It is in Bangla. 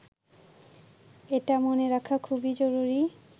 এটা মনে রাখা খুবই জরুরি